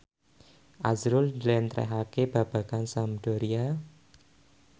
azrul njlentrehake babagan Sampdoria